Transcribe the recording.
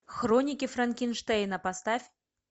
хроники франкенштейна поставь